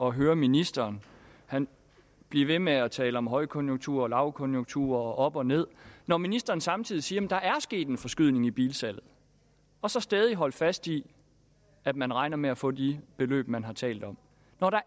at høre ministeren blive ved med at tale om højkonjunktur og lavkonjunktur og op og ned når ministeren samtidig siger at der er sket en forskydning i bilsalget og så stædigt holde fast i at man regner med at få de beløb man har talt om når der